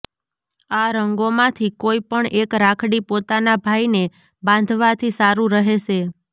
આ રંગોમાંથી કોઈ પણ એક રાખડી પોતાના ભાઈને બાંધવાથી સારું રહેશે